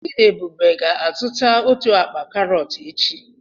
Chidiebube ga-azụta otu akpa karọt echi.